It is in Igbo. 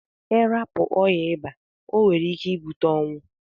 Irapu oya ịba onwere ike ibute ọnwụ.